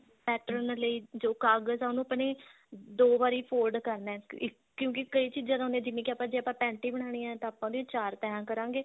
pattern ਲਈ ਜੋ ਕਾਗਜ ਹੈ ਉਹਨੂੰ ਆਪਾਂ ਨੇ ਦੋ ਵਾਰੀ fold ਕਰਨਾ ਹੈ ਕਿਉਂਕਿ ਕਈ ਚੀਜਾ ਹੁੰਦੀ ਹੈ ਜਿਵੇਂ ਕਿ ਆਪਾਂ ਜੇ ਆਪਾਂ panty ਬਣਾਨੀ ਹੈ ਤਾਂ ਆਪਾਂ ਉਹਦੀਆਂ ਚਾਰ ਤੈਹਾਂ ਕਰਾਂਗੇ